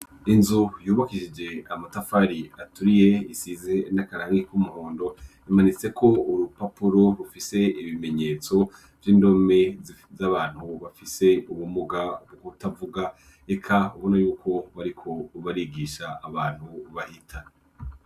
Inzu yubakishije amatafari aturiye isize n'akarangi k'umuhondo, imanitseko urupapuro rufise ibimenyetso vy'indome z'abantu bafise ubumuga bw'ukutavuga, eka ubona yuko bariko barigisha abantu bahita.